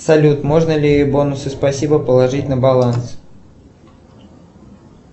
салют можно ли бонусы спасибо положить на баланс